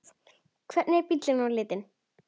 Hvernig er bíllinn á litinn?